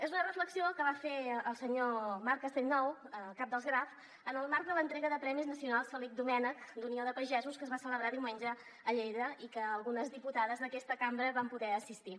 és una reflexió que va fer el senyor marc castellnou cap dels graf en el marc de l’entrega dels premis nacionals felip domènech d’unió de pagesos que es va celebrar diumenge a lleida i que algunes diputades d’aquesta cambra hi vam poder assistir